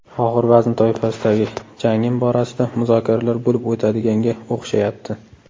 Og‘ir vazn toifasidagi jangim borasida muzokaralar bo‘lib o‘tadiganga o‘xshayapti.